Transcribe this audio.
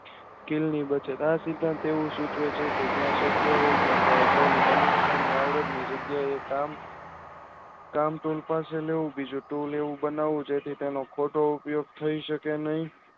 આ સિદ્ધાંતો સૂચવે છે કે જ્યાં સ્કાય હોય ત્યાં મનુષ્યની આવડતની યોગ્ય એ કામ જેથી તેમાં ખોટો ઉપયોગ થાય શકે નહિ